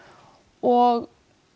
og